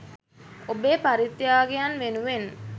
ඔබේ පරිත්‍යාගයන් වෙනුවෙන්